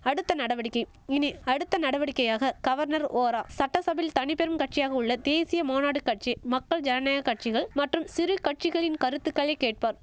அடுத்த நடவடிக்கை இனி அடுத்த நடவடிக்கையாக கவர்னர் ஓரா சட்டசபையில் தனிப்பெரும் கட்சியாக உள்ள தேசிய மாநாடு கட்சி மக்கள் ஜனநாயக கட்சிகள் மற்றும் சிறு கட்சிகளின் கருத்துகளைக் கேட்பார்